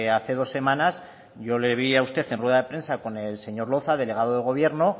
hace dos semanas yo le vi a usted en rueda de prensa con el señor loza delegado de gobierno